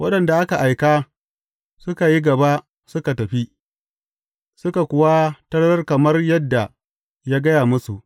Waɗanda aka aika su yi gaba suka tafi, suka kuwa tarar kamar yadda ya gaya musu.